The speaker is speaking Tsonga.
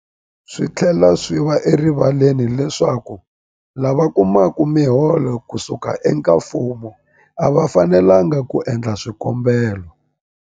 Swi tlhela swi va erivaleni leswaku lava kumaka miholo ku suka eka mfumo a va fanelanga ku endla swikombelo.